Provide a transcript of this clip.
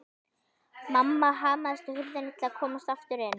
Mamma hamaðist á hurðinni til að komast aftur inn.